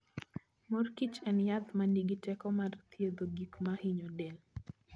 mor kichen yath ma nigi teko mar thiedho gik ma hinyo del.